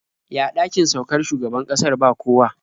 Ya ɗakin saukar shugaban ƙasar ba kowa?